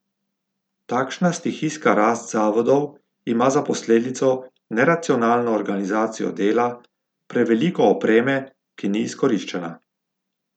Takšna stihijska rast zavodov ima za posledico neracionalno organizacijo dela, preveliko opreme, ki ni izkoriščena.